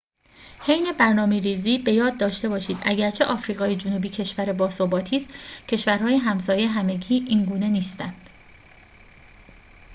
حین برنامه‌ریزی به یاد داشته باشید اگرچه آفریقای جنوبی کشور باثباتی است کشورهای همسایه همگی اینگونه نیستند